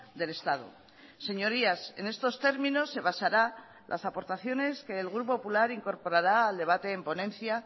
del estado señorías en estos términos se basará las aportaciones que el grupo popular incorporará al debate en ponencia